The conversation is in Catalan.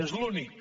és l’únic